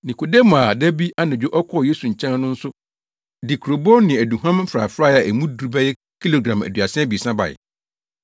Nikodemo a da bi anadwo ɔkɔɔ Yesu nkyɛn no nso de kurobow ne aduhuam mfrafrae a emu duru bɛyɛ kilogram aduasa abiɛsa bae.